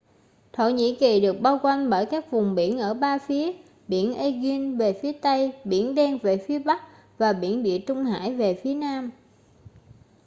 thổ nhĩ kỳ được bao quanh bởi các vùng biển ở ba phía biển aegean về phía tây biển đen về phía bắc và biển địa trung hải về phía nam